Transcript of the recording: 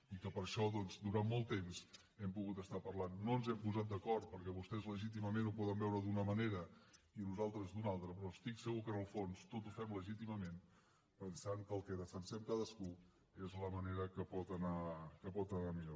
i que per això doncs durant molt de temps hem pogut estar parlant no ens hem posat d’acord perquè vostès legítimament ho poden veure d’una manera i nosaltres d’una altra però estic segur que en el fons tot ho fem legítimament pensant que el que defensem cadascú és la manera que pot anar millor